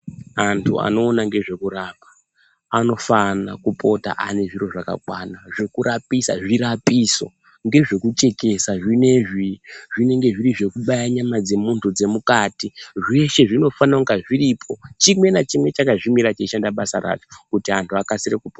Antu anoona ngezvekurapa anofana kupota ane zviro zvakakwana zvekurapisa. Zvirapiso ngezvekuchekesa zvinezvi, zvimweni zvinenge zviri zvekubaya nyama dzemuntu dzemukati. Zveshe zvinofanira kunge zviripo chimwe nachimwe chakamirira basa racho kuti antu akasire kupona.